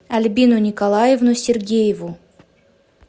альбину николаевну сергееву